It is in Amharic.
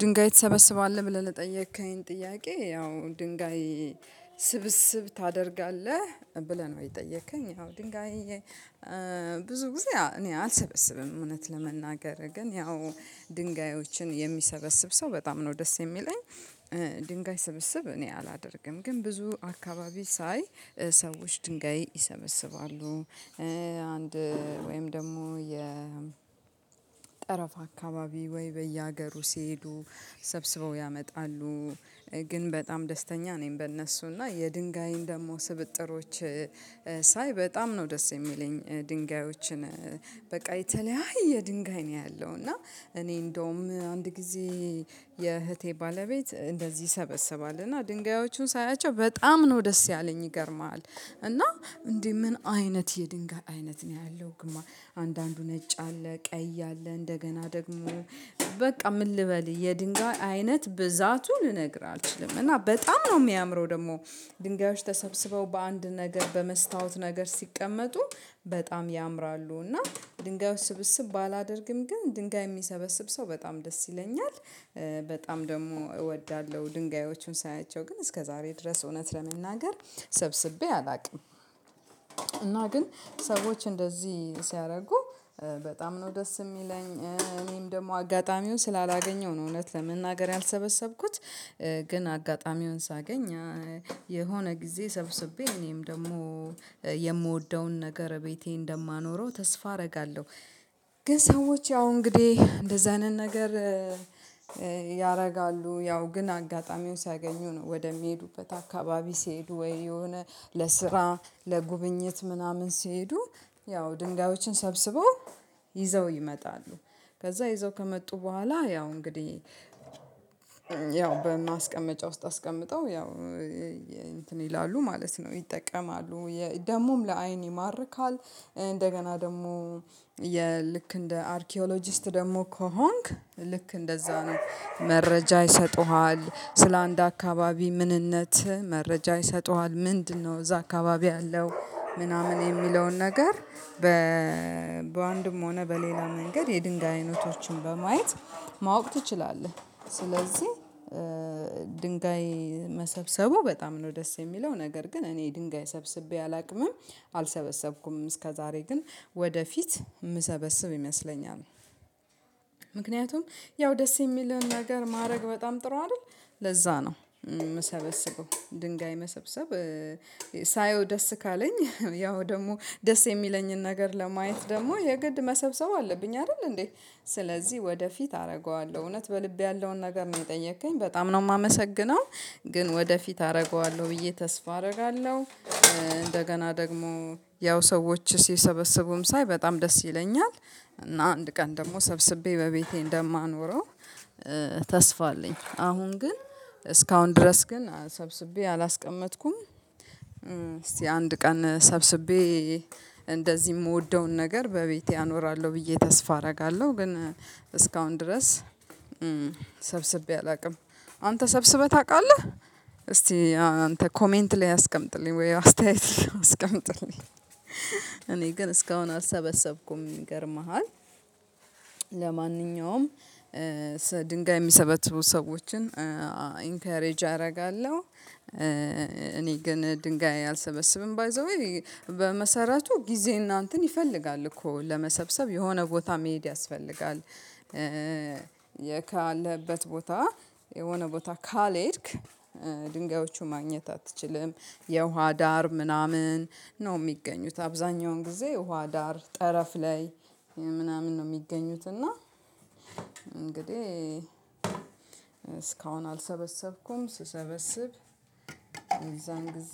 ድንጋይ ትሰበስባለህ ብለህ ለጠየከኝ? ጥያቄ ያው ድንጋይ ስብስብ ታደርጋለህ ብለህ ነው የጠየከኝ ያው ድንጋይ ብዙ ጊዜ እኔ አልሰበስብም እውነት ለመናገር ግን ያው ድንጋዮችን የሚሰበስብ ሰው በጣም ነው ደስ የሚለኝ። ድንጋይ ስብስብ እኔ አላደርግም ግን ብዙ አካባቢ ሳይ ሰዎች ድንጋይ ይሰበስባሉ። አንድ ወይም ደግሞ የጠረፍ አካባቢ ወይ በየሀገሩ ሲሄዱ ሰብስበው ያመጣሉ። ግን በጣም ደስተኛ ነኝ በእነሱ እና የድንጋይን ደግሞ ስብጥሮች ሳይ በጣም ነው ደስ የሚለኝ። ድንጋዮችን በቃ የተለያየ ድንጋይ ነው ያለው እና እኔ እንደውም አንድ ጊዜ የእህቴ ባለቤት እንደዚህ ይሰበስባል እና ድንጋዮቹን ሳያቸው በጣም ነው ደስ ያለኝ ይገርምሃል። እና እንዴ ምን አይነት የድንጋይ አይነት ነው ያለው? ግማ አንዳንዱ ነጭ አለ ቀይ አለ እንደገና ደግሞ በቃ ምን ልበል የድንጋይ አይነት ብዛቱ ልነግርህ አልችልም። እና በጣም ነው የሚያምረው ደግሞ ድንጋዮች ተሰብስበው በአንድ ነገር በመስታወት ነገር ሲቀመጡ በጣም ያምራሉ። እና ድንጋዮች ስብስብ ባላደርግም ግን ድንጋይ የሚሰበስብ ሰው በጣም ደስ ይለኛል። በጣም ደግሞ እወዳለሁ ድንጋዮቹን ሳያቸው ግን እስከዛሬ ድረስ እውነት ለመናገር ሰብስቤ አላውቅም። እና ግን ሰዎች እንደዚህ ሲያደርጉ በጣም ነው ደስ የሚለኝ እኔም ደግሞ አጋጣሚው ስላላገኘው ነው እውነት ለመናገር ያልሰበሰብኩት። ግን አጋጣሚውን ሳገኝ የሆነ ጊዜ ሰብስቤ እኔም ደግሞ የምወደውን ነገር ቤቴ እንደማኖረው ተስፋ አደርጋለሁ። ግን ሰዎች ያው እንግዲህ እንደዛ አይነት ነገር ያደርጋሉ ያው ግን አጋጣሚው ሲያገኙ ነው ወደሚሄዱበት አካባቢ ሲሄዱ ወይ የሆነ ለስራ ለጉብኝት ምናምን ሲሄዱ ያው ድንጋዮችን ሰብስበው ይዘው ይመጣሉ። ከዛ ይዘው ከመጡ በኋላ ያው እንግዲህ ያው በማስቀመጫ ውስጥ አስቀምጠው ያው እንትን ይላሉ ማለት ነው ይጠቀማሉ ደግሞም ለአይን ይማርካል። እንደገና ደግሞ የልክ እንደ አርኪኦሎጂስት ደግሞ ከሆንክ ልክ እንደዛ ነው መረጃ ይሰጡሃል ስለአንድ አካባቢ ምንነት መረጃ ይሰጡሃል። ምንድነው እዛ አካባቢ ያለው ምናምን የሚለውን ነገር? በአንድም ሆነ በሌላ መንገድ የድንጋይ አይነቶችን በማየት ማወቅ ትችላለህ። ስለዚህ ድንጋይ መሰብሰቡ በጣም ነው ደስ የሚለው ነገር ግን እኔ ድንጋይ ሰብስቤ አላውቅምም አልሰበሰብኩም እስከዛሬ ግን ወደፊት የምሰበስብ ይመስለኛል። ምክንያቱም ያው ደስ የሚልህን ነገር ማድረግ በጣም ጥሩ አይደል? ለዛ ነው የምሰበስበው ድንጋይ መሰብሰብ ሳየው ደስ ካለኝ ያው ደግሞ ደስ የሚለኝን ነገር ለማየት ደግሞ የግድ መሰብሰብ አለብኝ አይደል እንዴ ስለዚህ ወደፊት አደርገዋለሁ እውነት በልቤ ያለውን ነገር ነው የጠየከኝ በጣም ነው የማመሰግነው ግን ወደፊት አደርገዋለሁ ብዬ ተስፋ አደርጋለሁ። እንደገና ደግሞ ያው ሰዎች ሲሰበስቡም ሳይ በጣም ደስ ይለኛል እና አንድ ቀን ደግሞ ሰብስቤ በቤቴ እንደማኖረው ተስፋ አለኝ አሁን ግን እስካሁን ድረስ ግን ሰብስቤ አላስቀመጥኩም። እስቲ አንድ ቀን ሰብስቤ እንደዚህ የምወደውን ነገር በቤቴ አኖራለሁ ብዬ ተስፋ አደርጋለሁ ግን እስካሁን ድረስ ሰብስቤ አላውቅም። አንተ ሰብስበህ ታውቃለህ? እስቲ አንተ ኮሜንት ላይ አስቀምጥልኝ ወይ አስተያየት አስቀምጥልኝ? እኔ ግን እስካሁን አልሰበሰብኩም ይገርምሃል። ለማንኛውም ድንጋይ የሚሰበትቡ ሰዎችን ኢንከሬጅ አደርጋለሁ። እኔ ግን ድንጋይ አልሰበሰብም ባይ ዘ ዌይ በመሰረቱ ጊዜና እንትን ይፈልጋል እኮ ለመሰብሰብ የሆነ ቦታ መሄድ ያስፈልጋል። ያለህበት ቦታ የሆነ ቦታ ካልሄድክ ድንጋዮቹ ማግኘት አትችልም። የውሃ ዳር ምናምን ነው የሚገኙት አብዛኛውን ጊዜ ውሃ ዳር ጠረፍ ላይ ምናምን ነው የሚገኙት። እና እንግዲህ እስካሁን አልሰበሰብኩም ስሰበስብ እነዛን ጊዜ